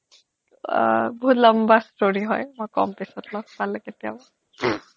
বহুত লম্বা story হয় মই কম পিছত লগ পালে কেতিয়াবা